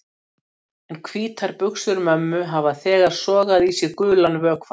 En hvítar buxur mömmu hafa þegar sogað í sig gulan vökvann.